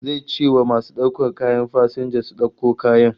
Zai ce wa masu daukar kayan fasinja su dauko kayan